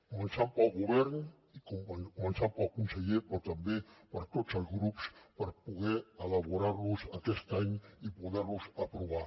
començant pel govern i començant pel conseller però també per tots els grups per poder elaborar los aquest any i poder los aprovar